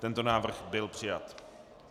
Tento návrh byl přijat.